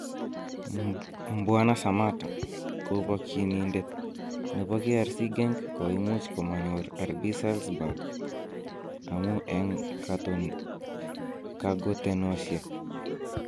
Mbwana Sammatta: Kobokyinindet nebo KRC Genk koimuch komonyor RB Salzburg amun en kagotenosiek